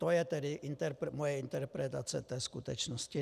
To je tedy moje interpretace té skutečnosti.